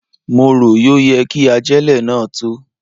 Mo rò yọ yẹ kí ajélẹ̀ náà tó.